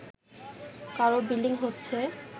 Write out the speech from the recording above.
কারও ব্লিডিং হচ্ছে